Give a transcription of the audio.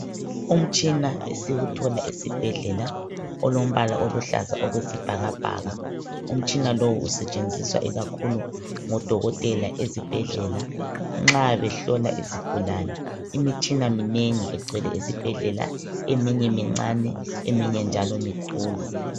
Umtshina esiwuthola esibhedlela olombala oluhlaza okwesibhakabhaka. Umtshina lowu usetshenziswa ikakhulu ngodokotela ezibhedlela nxa behlola izigulane. Imitshina minengi egcwele ezibhedlela eminye mincane eminye njalo mikhulu.